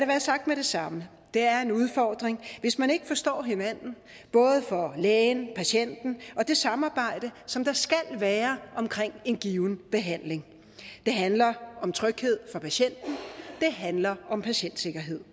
være sagt med det samme det er en udfordring hvis man ikke forstår hinanden både for lægen og patienten og det samarbejde som der skal være om en given behandling det handler om tryghed for patienten det handler om patientsikkerhed